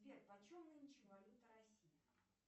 сбер почем нынче валюта россии